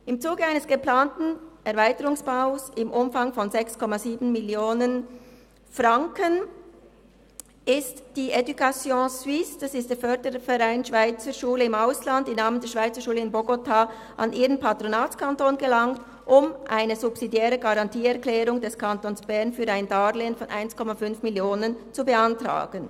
Im Zuge eines geplanten Erweiterungsbaus im Umfang von 6,7 Mio. Franken ist die educationsuisse, der Förderverein der Schweizerschulen im Ausland, im Namen der Schweizerschule in Bogotá an ihren Patronatskanton gelangt, um eine subsidiäre Garantieerklärung des Kantons Bern für ein Darlehen von 1,5 Mio. Franken zu beantragen.